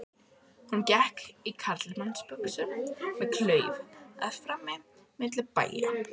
Hún gekk í karlmannsbuxum með klauf að framan milli bæja.